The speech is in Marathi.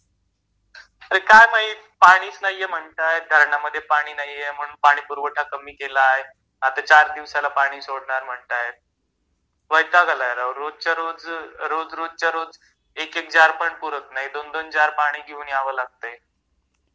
अरे काय माहीत पाणीच नाहीये म्हणतात धारणामध्ये पाणी नाहीये म्हणून पाणीपुरवठा कमी केला आहे... आता चार दिवसाला पाणी सोडणार म्हणतायेत वैताग आलाय राव रोजच्या रोज रोज रोजच्या रोज एक एक जार पुरत नाही दोन दोन जार पाणी घेऊन याव लागतय